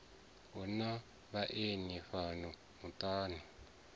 hu na vhaeni fhano muṱani